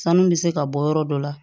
Sanu bɛ se ka bɔ yɔrɔ dɔ la